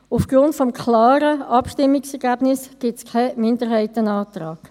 Aufgrund des klaren Abstimmungsergebnisses gibt es keinen Minderheitsantrag.